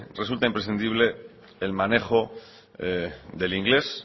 resulta imprescindible el manejo del inglés